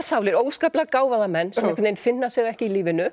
sálir óskaplega gáfaða menn sem einhvern veginn finna sig ekki í lífinu